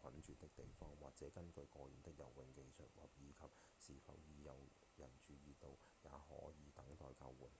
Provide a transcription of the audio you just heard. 困住的地方或者根據個人的游泳技術以及是否已有人注意到也可以等待救援